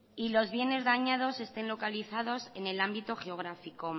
y los bienes dañados estén localizados en el ámbito geográfico